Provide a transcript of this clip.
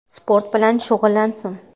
Sport bilan shug‘ullansin.